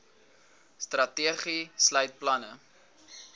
strategie sluit planne